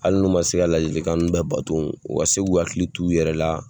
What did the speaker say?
Hali n'u ma se ka ladilikan ninnu bɛɛ bato, u ka se k'u hakili t'u yɛrɛ la.